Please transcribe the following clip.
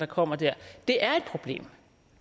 kommer der det er et problem